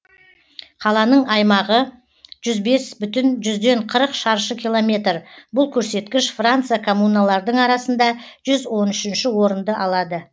қаланың аймағы жүз бес бүтін жүзден қырық шаршы километр бұл көрсеткіш франция коммуналардың арасында жүз он үшінші орынды алады